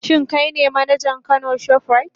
Shin kai ne manajan Kano shoprite?